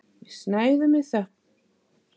Við snæðum í þögn.